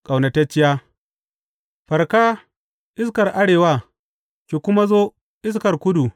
Ƙaunatacciya Farka, iskar arewa, ki kuma zo, iskar kudu!